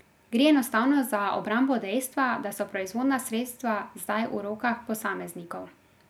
Gre enostavno za obrambo dejstva, da so proizvodna sredstva zdaj v rokah posameznikov.